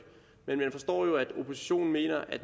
men man forstår jo at oppositionen mener at